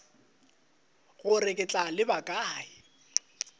gore ke tla leba kae